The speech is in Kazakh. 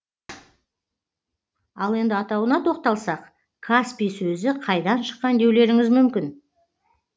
ал енді атауына тоқталсақ каспий сөзі қайдан шыққан деулеріңіз мүмкін